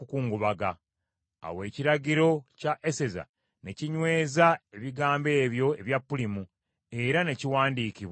Awo ekiragiro kya Eseza ne kinyweza ebigambo ebyo ebya Pulimu, era ne kiwandiikibwa mu byafaayo.